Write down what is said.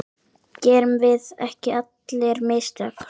Gerum við ekki allir mistök?